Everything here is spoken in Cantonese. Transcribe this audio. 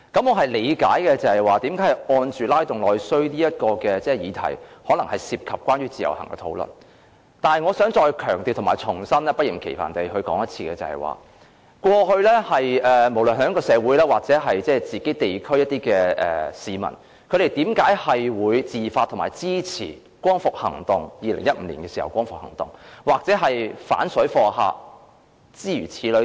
我理解為何"拉動內需"的議題可能涉及關於自由行的討論，但我想再強調和不厭其煩地重申，過去無論是在香港社會或地區的市民，為何會自發地支持2015年的光復行動，又或是反水貨客等行動？